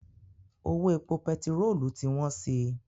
Owó epo pẹtirolu ti wọ́n si.